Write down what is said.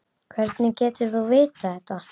Hvernig getur þú vitað þetta?